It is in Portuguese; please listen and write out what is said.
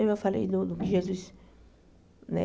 Eu falei do Jesus, né?